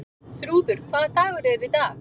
Þrúður, hvaða dagur er í dag?